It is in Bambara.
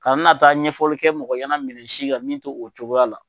Ka na n'a taa ɲɛfɔli kɛ mɔgɔyɛnɛ minɛ si kan min to o cogoya la.